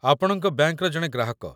ଆପଣଙ୍କ ବ୍ୟାଙ୍କର ଜଣେ ଗ୍ରାହକ